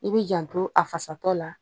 I bɛ janto a fasa tɔ la